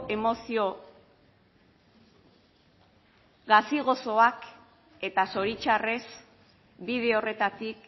emozio gazi gozoak eta zoritxarrez bide horretatik